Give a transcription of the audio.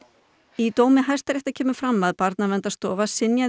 í dómi Hæstaréttar kemur fram að Barnaverndarstofa synjaði